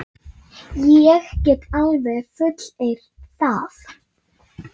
Ég get alveg fullyrt það.